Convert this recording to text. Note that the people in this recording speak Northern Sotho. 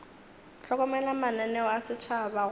hlokomela mananeo a setšhaba go